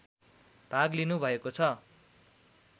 भाग लिनुभएको छ